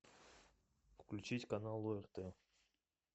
включить канал орт